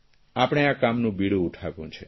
આપણે આ કામનું બીડું ઉઠાવ્યું છે